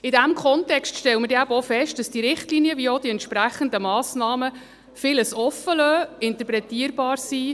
In diesem Kontext stellen wir auch fest, dass sowohl diese Richtlinien als auch die entsprechenden Massnahmen vieles offenlassen und interpretierbar sind.